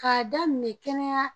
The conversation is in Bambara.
K'a daminɛ kɛnɛya